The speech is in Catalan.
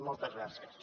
moltes gràcies